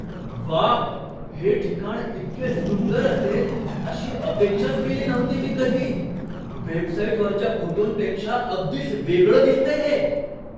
व्वा! हे ठिकाण इतके सुंदर असेल अशी अपेक्षाच केली नव्हती मी कधी. वेबसाईटवरच्या फोटोंपेक्षा अगदीच वेगळं दिसतंय हे.